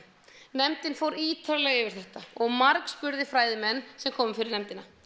nefndin fór ítarlega yfir þetta og margspurði fræðimenn sem komu fyrir nefndina